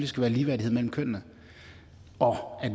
skal være ligeværdighed mellem kønnene og at